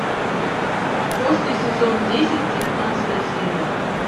после сезон десять девятнадцатая серия